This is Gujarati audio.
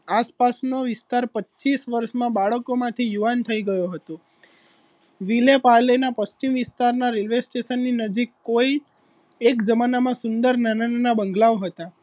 આસપાસ નો વિસ્તાર પચીશ વર્ષમાં બાળકોમાંથી યુવાન થઈ ગયો હતો વિલેપાલે ના પશ્ચિમ વિસ્તારના રેલ્વે સ્ટેશન ની નજીક કોઈ એક જમાનામાં સુંદર નાના નાના બંગલાઓ હતા